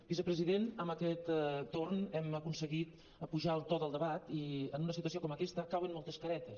vicepresident amb aquest torn hem aconseguit apujar el to del debat i en una situació com aquesta cauen moltes caretes